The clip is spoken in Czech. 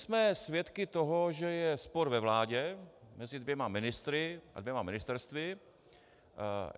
Jsme svědky toho, že je spor ve vládě mezi dvěma ministry a dvěma ministerstvy.